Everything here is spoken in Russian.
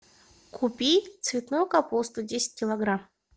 купи цветную капусту десять килограмм